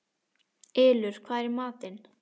Ylur, hvað er í matinn?